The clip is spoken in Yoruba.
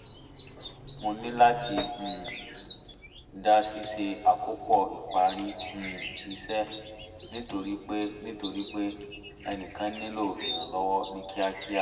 mo níláti um dá ṣíṣe àkópọ̀ ìparí um iṣẹ́ nítorí pé nítorí pé ẹnìkan nílò ìrànlọ́wọ́ ní kíákíá